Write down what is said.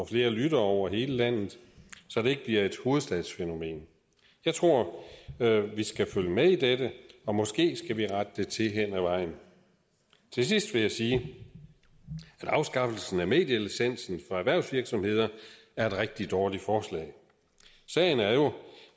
flere lyttere over hele landet så det ikke bliver et hovedstadsfænomen jeg tror vi skal følge med i dette og måske skal vi rette det til hen ad vejen til sidst vil jeg sige at afskaffelsen af medielicensen for erhvervsvirksomheder er et rigtig dårligt forslag sagen er jo